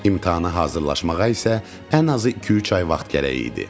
İmtahana hazırlaşmağa isə ən azı iki-üç ay vaxt gərək idi.